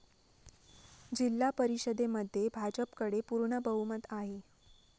जिल्हा परिषदेमध्ये भाजपकडे पूर्ण बहुमत आहे.